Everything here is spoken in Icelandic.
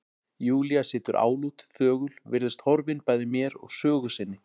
Júlía situr álút, þögul, virðist horfin bæði mér og sögu sinni.